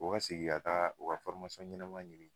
O segin ka taa o ka ɲɛnama ɲini